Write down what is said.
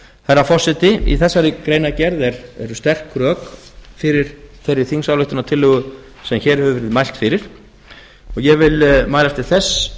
herra forseti í þessari greinargerð eru sterk rök fyrir þeirri þingsályktunartillögu sem hér hefur verið mælt fyrir og ég vil mælast til þess